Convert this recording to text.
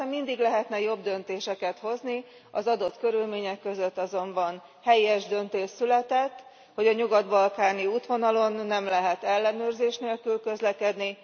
Persze mindig lehetne jobb döntéseket hozni, az adott körülmények között azonban helyes döntés született arról, hogy a nyugat balkáni útvonalon nem lehet ellenőrzés nélkül közlekedni.